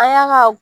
An y'a ka